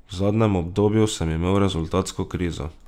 V zadnjem obdobju sem imel rezultatsko krizo.